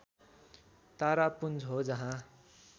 तारापुञ्ज हो जहाँ